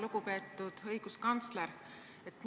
Lugupeetud õiguskantsler!